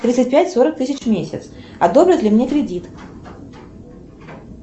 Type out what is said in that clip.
тридцать пять сорок тысяч в месяц одобрят ли мне кредит